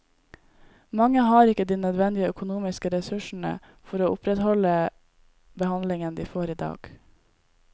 Mange har ikke de nødvendige økonomiske ressursene for å opprettholde behandlingen de får i dag.